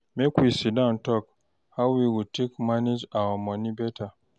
Make we sit down tok how we go take manage our moni beta.